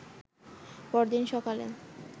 পরদিন সকালে